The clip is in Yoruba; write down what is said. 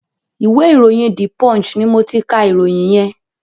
ìwé ìròyìn "The Punch" ni mo ti ka ìròyìn yẹn.